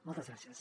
moltes gràcies